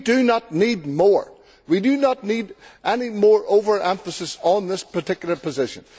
we do not need more. We do not need any more over emphasis on this particular position.